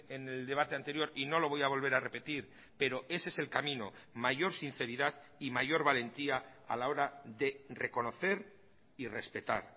en el debate anterior y no lo voy a volver a repetir pero ese es el camino mayor sinceridad y mayor valentía a la hora de reconocer y respetar